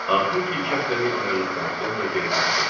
Axır ki, iki həftəlik ayrılıqdan sonra geri döndüm.